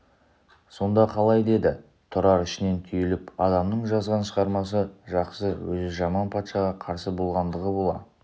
сонда қалай деді тұрар ішінен түйіліп адамның жазған шығармасы жақсы өзі жаман патшаға қарсы болғандығына бола